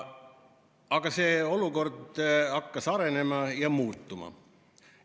Aga see olukord hakkas arenema ja muutuma.